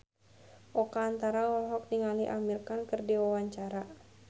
Oka Antara olohok ningali Amir Khan keur diwawancara